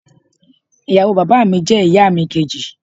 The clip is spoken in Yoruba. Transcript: ìyàwó bàbá mi je ìyà mi kèjì